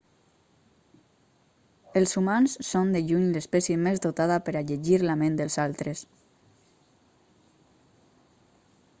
els humans són de lluny l'espècie més dotada per a llegir la ment dels altres